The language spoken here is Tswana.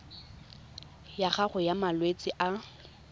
ya gago ya malwetse a